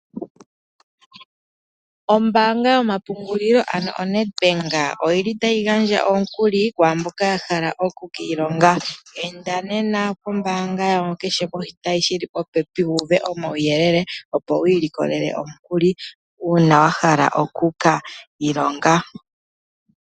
Ombaanga yomapungulilo ano oNedbank, oyili tayi gandja omukuli kwaa mboka ta hala okukiilonga. Enda nena pombaanga yawo kehe poshitayi shili popepi wu uve omauyelele opo wiilikolele omukuli uuna wa hala okuka ilonga.